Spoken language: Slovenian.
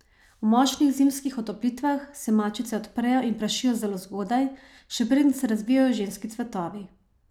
V močnih zimskih otoplitvah se mačice odprejo in prašijo zelo zgodaj, še preden se razvijejo ženski cvetovi.